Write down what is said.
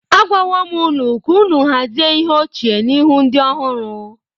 Agwawo m unu ka unu hazie ihe ochie n’ihu ndị ọhụrụ.